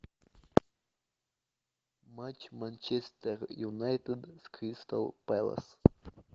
матч манчестер юнайтед с кристал пэлас